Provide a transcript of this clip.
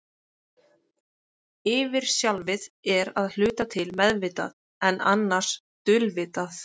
Yfirsjálfið er að hluta til meðvitað, en annars dulvitað.